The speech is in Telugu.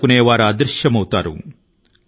స్థిరమైన ప్రవాహాన్ని నిరోధించే శక్తి ఎవరి కి ఉంది